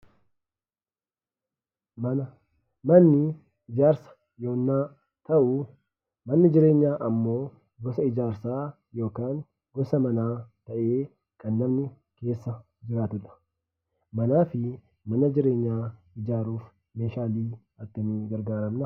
Mana. Manni ijaarsaa yeennaa ta'u manni jireenya immoo gosaa ijaarsa yookaan gisaa manaa ta'e kan namni keessaa jiraatuudha. Manaa fi mana jireenyaa ijaaruuf meeshalee akkami gargaraamna?